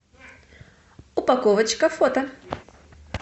упаковочка фото